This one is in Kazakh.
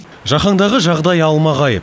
жаһандағы жағдай алмағайып